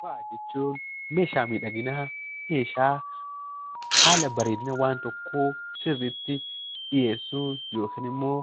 Faaya jechuun meeshaa miidhaginaa, meeshaa haala bareedina waan tokkoo sirriitti dhiyeessuun yookiin immoo